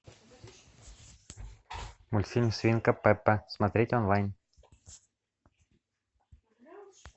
мультфильм свинка пеппа смотреть онлайн